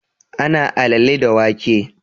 Ana alale da wake